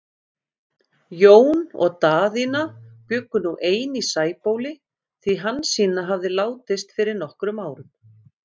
Jón og Daðína bjuggu nú ein í Sæbóli, því Hansína hafði látist fyrir nokkrum árum.